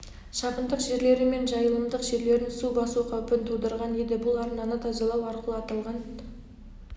шабындық жерлері мен жайылымдық жерлерін су басу қаупін тудырған еді бұл арнаны тазалау арқылы аталған